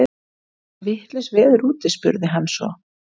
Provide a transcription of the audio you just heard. Er ekki vitlaust veður úti? spurði hann svo.